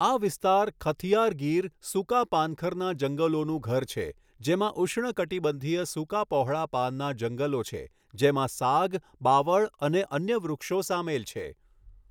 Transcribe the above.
આ વિસ્તાર ખથિયાર ગીર સૂકા પાનખરના જંગલોનું ઘર છે, જેમાં ઉષ્ણકટિબંધીય સૂકા પહોળા પાનના જંગલો છે જેમાં સાગ, બાવળ અને અન્ય વૃક્ષો સામેલ છે.